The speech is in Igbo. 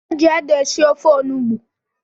E ji ede esi ofe onugbo